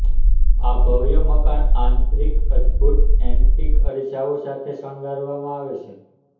આ ભવ્ય મકાન આંતરિક અદભૂત એન્ટીક અરીસાઓ સાથે શણગારવામાં આવે છે